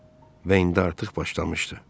Və indi artıq başlamışdı.